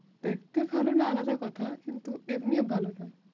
দেখতে ভালো না আলাদা কথা, কিন্তু এমনিও ভালো না।